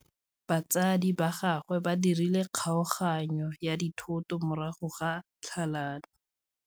Batsadi ba gagwe ba dirile kgaoganyô ya dithoto morago ga tlhalanô.